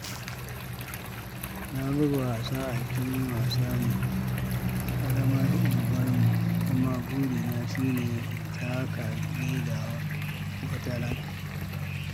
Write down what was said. Na buga wasa a filin wasa na ƙaramar unguwarmu, kuma burina shi ne in taka leda wataran.